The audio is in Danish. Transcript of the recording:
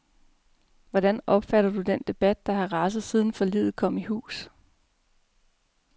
Hvordan opfatter du den debat, der har raset, siden forliget kom i hus?